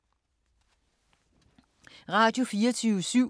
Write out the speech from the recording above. Radio24syv